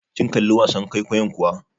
Kin kalli wasan kwaikwayon kuwa?